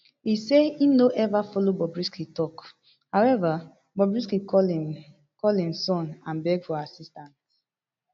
e say im no ever follow bobrisky tok however bobrisky call im call im son and beg for assistance